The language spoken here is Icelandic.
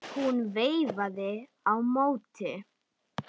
Hún veifaði á móti.